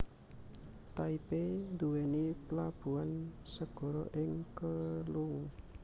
Taipei nduwèni plabuhan segara ing Keelung